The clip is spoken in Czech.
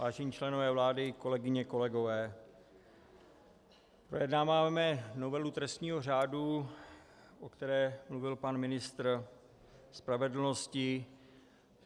Vážení členové vlády, kolegyně, kolegové, projednáváme novelu trestního řádu, o které mluvil pan ministr spravedlnosti.